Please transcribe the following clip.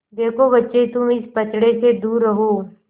देखो बच्चे तुम इस पचड़े से दूर रहो